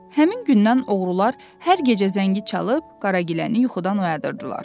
Həmin gündən oğrular hər gecə zəngi çalıb Qaragiləni yuxudan oyadırdılar.